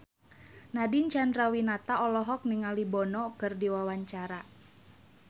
Nadine Chandrawinata olohok ningali Bono keur diwawancara